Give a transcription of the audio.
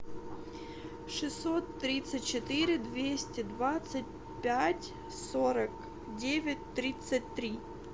шестьсот тридцать четыре двести двадцать пять сорок девять тридцать три